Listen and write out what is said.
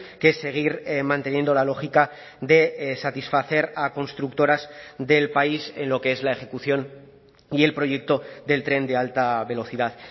que es seguir manteniendo la lógica de satisfacer a constructoras del país en lo que es la ejecución y el proyecto del tren de alta velocidad